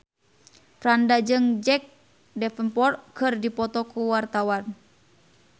Franda jeung Jack Davenport keur dipoto ku wartawan